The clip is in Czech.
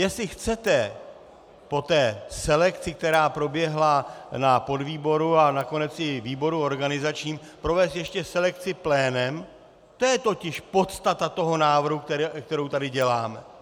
Jestli chcete po té selekci, která proběhla na podvýboru a nakonec i výboru organizačním, provést ještě selekci plénem, to je totiž podstata toho návrhu, kterou tady děláme.